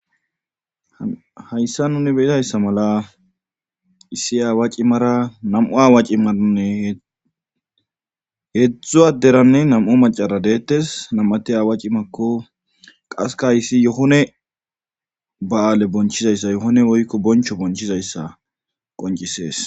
hayssa nuni be'izayssa mala issi aawaaci mara nam7u aawaaci maranne heedzdzu adderanne nam7u macara deettes nam7ati aawaci makko qaseka issi yohone ba7aale bonchizayssa yohone woykko boncho bonchizayssa qoncisees